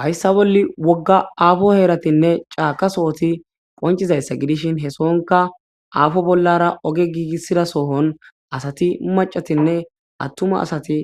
hayssa bolli wogga aafo heeratinne caaka sohoti qoncizayssa gidishin he sohonka aafo bollara oge giigissida sohon asati macatinne attuma asati